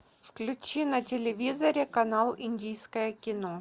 включи на телевизоре канал индийское кино